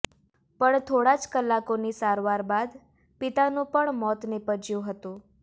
પણ થોડા જ કલાકોની સારવાર બાદ પિતાનું પણ મોત નિપજ્યું હતું